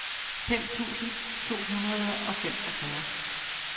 fem tusind to hundrede og femogfyrre